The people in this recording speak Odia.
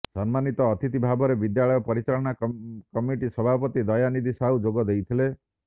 ସମ୍ମାନୀତ ଅତିଥିଭାବରେ ବିଦ୍ୟାଳୟ ପରିଚାଳନା କମିଟି ସଭାପତି ଦୟାନିଧି ସାହୁ ଯୋଗ ଦେଇଥିଲେ